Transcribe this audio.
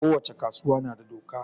ko wace kasuwa nada doka